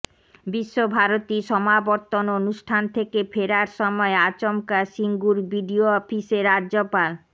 বিশ্বভারতীর সমাবর্তন অনুষ্ঠান থেকে ফেরার সময় আচমকা সিঙ্গুর বিডিও অফিসে রাজ্যপাল